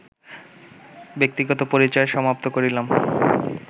ব্যক্তিগত পরিচয় সমাপ্ত করিলাম